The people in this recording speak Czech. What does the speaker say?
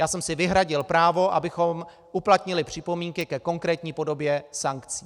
Já jsem si vyhradil právo, abychom uplatnili připomínky ke konkrétní podobě sankcí.